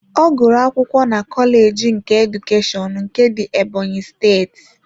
Ọ gụrụ akwụkwọ na kọleji nke Edukeshọn nke dị Ebonyi steeti.